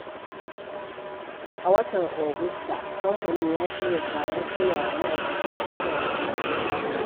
A watan Agusta, kamfanin ya shirya taron koya wa ma’aikata sadarwa mai ma'ana.